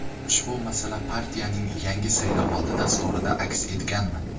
Ushbu masala partiyaning yangi saylovoldi dasturida aks etganmi?